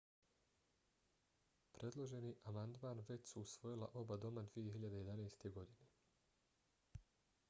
predloženi amandman već su usvojila oba doma 2011. godine